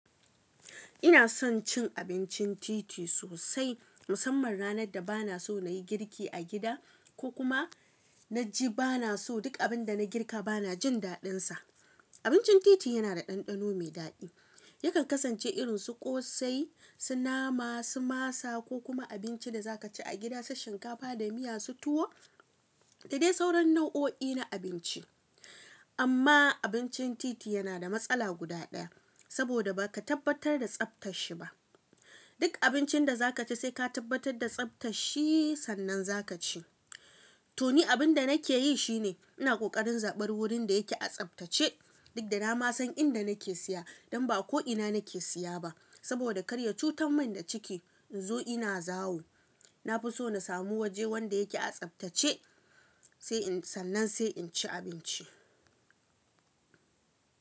Ina son cin abincin titi sosai, musamman ranar da bana so na yi girki a gida ko kuma na ji bana so duk abin da na girka bana jin daɗinsa. Abincin titi yana da ɗanɗano mai daɗi. Yakan kasance irin su ƙosai, su nama, su masa ko kuma abinci da za ka ci a gida kamar shinkafa da miya su tuwo da dai sauran nau'o'i na abinci. Amma abincin titi yana da matsala guda ɗaya, saboda ba ka tabbatar da tsaftar shi ba. Duk abincin da za ka ci sai ka tabbatar da tsaftar shi sannan za ka ci. To ni abin da nake yi shi ne, ina ƙoƙarin zaɓar wurin da yake a tsaftace. Duk da na ma san inda nake siya don ba ko'ina nake siya ba. Saboda karya cutar min da ciki in zo ina zawo. Na fi so na samu waje wanda yake a tsaftace sannan sai in ci abinci.